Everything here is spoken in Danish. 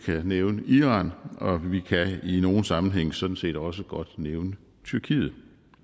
jeg nævne iran og vi kan i nogle sammenhænge sådan set også godt nævne tyrkiet